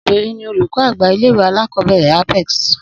Obìnrin ni olùkó àgbà ilé ìwé alákòóbèrè Apex